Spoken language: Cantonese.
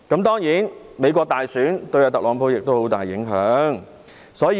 當然，美國大選對特朗普也有很大影響。